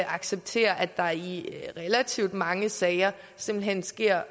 acceptere at der i relativt mange sager simpelt hen sker